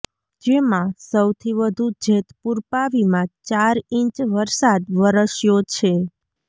જેમાં સૌથી વધુ જેતપુર પાવીમાં ચાર ઈંચ વરસાદ વરસ્યો છે